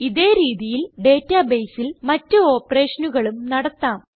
ഇതേ രീതിയിൽ databaseൽ മറ്റ് operationകളും നടത്താം